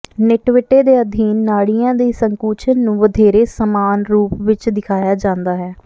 ਨਿਟਵਿਟੇ ਦੇ ਅਧੀਨ ਨਾੜੀਆਂ ਦੀ ਸੰਕੁਚਨ ਨੂੰ ਵਧੇਰੇ ਸਮਾਨ ਰੂਪ ਵਿੱਚ ਦਿਖਾਇਆ ਜਾਂਦਾ ਹੈ